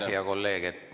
Aitäh, hea kolleeg!